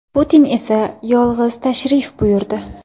Putin esa yolg‘iz tashrif buyurdi.